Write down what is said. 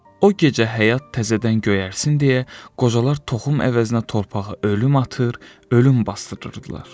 O gecə həyat təzədən göyərsin deyə, qocalar toxum əvəzinə torpağa ölüm atır, ölüm basdırırdılar.